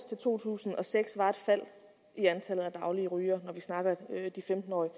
til to tusind og seks var et fald i antallet af daglige rygere når vi snakker de femten årige